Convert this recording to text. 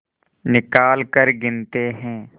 निकालकर गिनते हैं